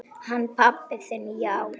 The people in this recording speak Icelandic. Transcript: Hann pabbi þinn, já.